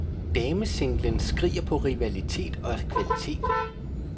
Damesinglen skriger på rivalitet og kvalitet.